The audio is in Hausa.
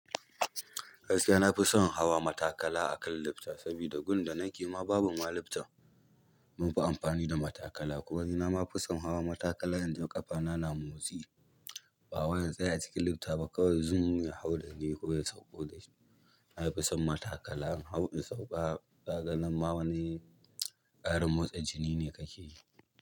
Gaskiya na fi son hawa matakala a kan lifta, saboda gun da nake ma babu ma lifta, munfi amfani da matakala. Kuma ma ni na ma fi son hawa matakala inda ƙafana na motsi, ba wai in tsaya cikin lifta ba kawai zumm ya hau da ni ko ya sauko da ni. Na fi son matakala, in hau in sauka, kaga nan ma wani ƙarin motsa jini ne kake yi.